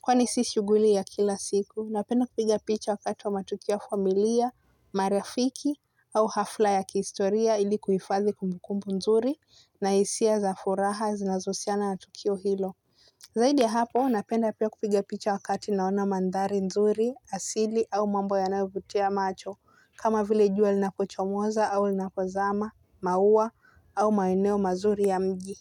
Kwani si shuguli ya kila siku, napenda kupiga picha wakati wa matukio ya familia, marafiki au hafla ya kiistoria ilikuhifadhi kumbukumbu nzuri na hisia za furaha zinazo husiana na tukio hilo. Zaidi ya hapo, napenda pia kupiga picha wakati naona mandhari nzuri, asili au mambo ya nayovutia macho, kama vile jua linapochomoza au linapozama, mauwa au maeneo mazuri ya mji.